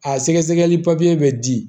A sɛgɛsɛgɛli papiye bɛ di